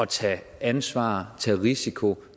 tage ansvar tage en risiko